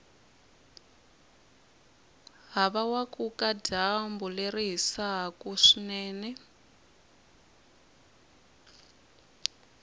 havawakuka dyambu leri hisaku swinene